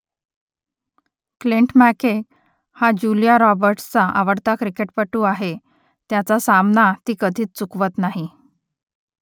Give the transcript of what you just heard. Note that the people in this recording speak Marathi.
क्लिंट मॅकके हा जुलिया रॉबर्ट्‌सचा आवडता क्रिकेटपटू आहे त्याचा सामना ती कधीच चुकवत नाही